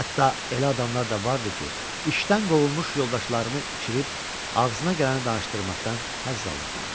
Hətta elə adamlar da vardı ki, işdən qovulmuş yoldaşlarını içirib ağzına gələni danışdırmaqdan həzz alırdılar.